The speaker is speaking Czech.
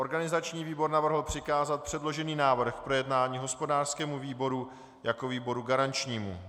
Organizační výbor navrhl přikázat předložený návrh k projednání hospodářskému výboru jako výboru garančnímu.